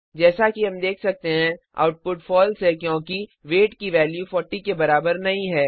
जैसा कि हम देख सकते हैं आउटपुट फॉल्स है क्योंकि वेट की वैल्यू 40 के बराबर नहीं है